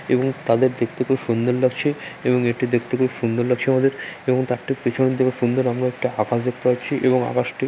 এবং তাদের দেখতে খুব সুন্দর লাগছে এবং এটি দেখতে খুব সুন্দর লাগছে আমাদের এবং তার ঠিক পিছন থেকে সুন্দর আমরা একটা আকাশ দেখতে পাচ্ছি এবং আকাশটি --